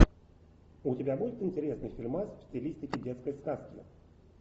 у тебя будет интересный фильмас в стилистике детской сказки